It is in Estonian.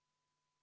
Aitäh!